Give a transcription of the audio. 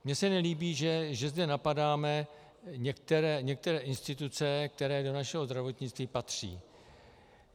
Mně se nelíbí, že zde napadáme některé instituce, které do našeho zdravotnictví patří.